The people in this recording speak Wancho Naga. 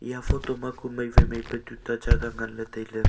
eya photo ma kue mai wai mai pe tuta jaga ngan ley tai ley.